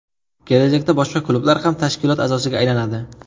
Kelajakda boshqa klublar ham tashkilot a’zosiga aylanadi.